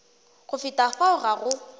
go feta fao ga go